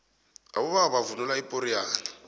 abobaba bavunula ipoxiyane